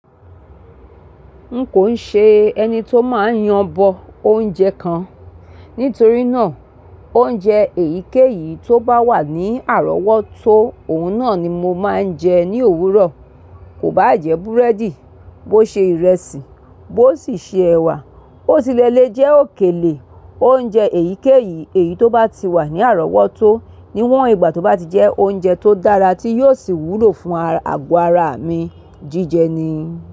N kò ṣe ẹni tó máa ń yanbọ oúnjẹ kan, nítorí náà oúnjẹ èyíkéyìí tó bá wà ní àrọ́wọ́tó òun náà ni mo máa ń jẹ ní òwúrọ̀. Kò bá jẹ búrẹ́dì, bó ṣe ìrẹsì, bó sì ṣe ẹ̀wà, ó sì lẹ le jẹ òkèlè. Oúnjẹ èyíkéyìí èyí tó bá ti wà ní àrọ́wọ́tó níwọ̀n ìgbà tó bá ti jẹ́ oúnjẹ tó dára tí yóò sì wúlò fún àgọ́ ara mi, jíjẹ ni.